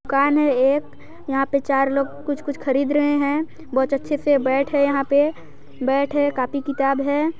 दुकान है एक यहा पे चार लोग कुछ-कुछ खरीद रहे है बहुत अच्छे से बैट है यहा पे बैट है कापी किताब है।